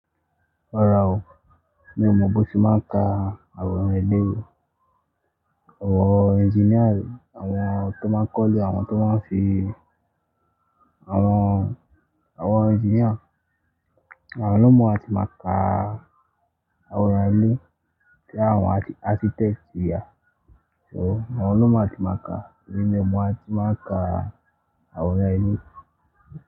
Rara o, mí ò mọ bó ti máa ń ka àwọn èlé. Àwọn engineer, àwọn tó máa kọ́ ilé, àwọn tó máa ń fi àwọn, àwọn engineer, àwọn ló mọ̀ á tí máa ka àwọn èlé kí àwọn architect yà. So àwọn ló mọ̀ á tí máa ka, mí ò mọ̀ á tí máa ka àwọn èlé.